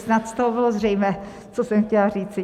Snad z toho bylo zřejmé, co jsem chtěla říci.